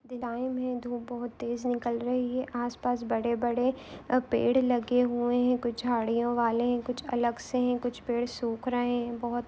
time है धूप बहुत तेज निकाल रही है आसपास बड़े-बड़े अ पेड़ लगे हुए है कुछ झाड़ियों वाले है कुछ अलग से है कुछ पेड़ सुख रहे है बहुत--